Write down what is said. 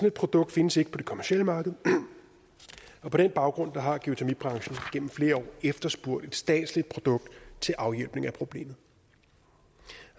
et produkt findes ikke på det kommercielle marked og på den baggrund har geotermibranchen gennem flere år efterspurgt et statsligt produkt til afhjælpning af problemet